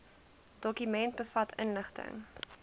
dokument bevat inligting